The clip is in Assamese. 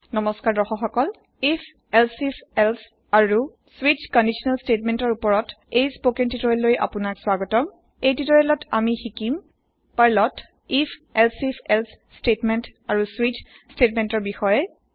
নমস্কাৰ দৰ্শক সকল পাৰ্লৰ if elsif এলছে আৰু স্বিচ কন্দিচনেল স্তেৎমেন্তৰ উপৰত এই স্পকেন তিওতৰিয়েললৈ আপোনাক স্বাগতম । এই তিওতৰিয়েলত আমি শিকিম পাৰ্লত if elsif এলছে স্তেৎমেন্ত আৰু স্বিচ স্তেৎমেন্তৰ বিষয়ে